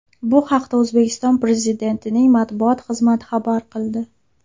Bu haqda O‘zbekiston Prezidentining matbuot xizmati xabar qildi .